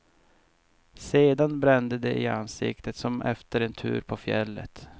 Sedan brände det i ansiktet som efter en tur på fjället.